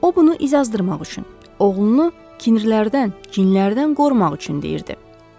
O bunu incazdırmaq üçün, oğlunu kinirlərdən, cinlərdən qorumaq üçün deyirdi.